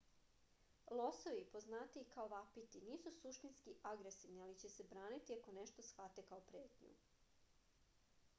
лосови познатији и као вапити нису суштински агресивни али ће се бранити ако нешто схвате као претњу